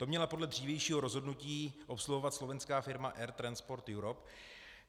To měla podle dřívějšího rozhodnutí obsluhovat slovenská firma Air - Transport Europe.